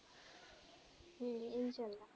উম